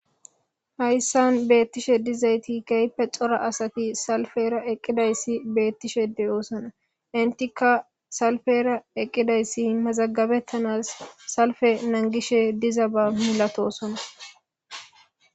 Haysan betishe dizayti keehippe daro asati salipera .eqidaysi betishe de'osona, entika salipera eqidaysi Mazagabetans salpen nangishe dizaba misatosona